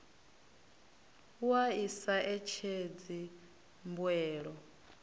wua i sa etshedzi mbuelo